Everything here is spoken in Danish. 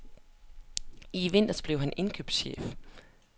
I vinter blev han indkøbschef.